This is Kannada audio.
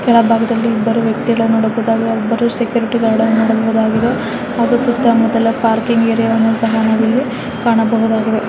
ಕೆಳಬಾಗದಲ್ಲಿ ಇಬ್ಬರು ವ್ಯಕ್ತಿಗಳನ್ನ ನೋಡಬಹುದು ಅಲ್ಲಿ ಒಬ್ಬರು ಸೆಕ್ಯೂರಿಟಿ ಗಾರ್ಡ್ ನೋಡಬೌದಾಗಿದೆ ಹಾಗು ಸುತ್ತ ಮುಟ್ಟಲು ಪಾರ್ಕಿಂಗ್ ಏರಿಯಾ ಸಹ ನಾವಿಲ್ಲಿ ಕಾಣಬಹುದಾಗಿದೆ --